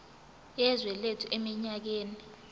yezwe lethu eminyakeni